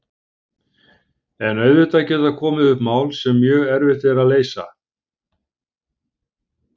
En auðvitað geta komið upp mál sem mjög erfitt er að leysa.